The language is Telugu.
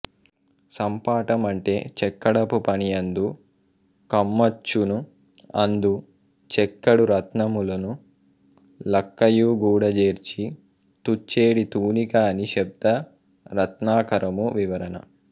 సంపాటం అంటే చెక్కడపు పనియందు కమ్మచ్చును అందు చెక్కెడు రత్నములును లక్కయుఁగూడఁజేర్చి తూఁచెడి తూనిక అని శబ్ద రత్నాకరము వివరణ